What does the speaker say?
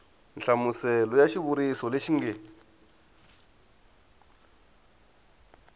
nhlamuselo ya xivuriso lexi nge